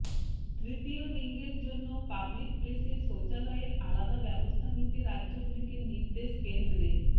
তৃতীয় লিঙ্গের জন্য পাবলিক প্লেসে শৌচালয়ের আলাদা ব্যবস্থা নিতে রাজ্যগুলিকে নির্দেশ কেন্দ্রের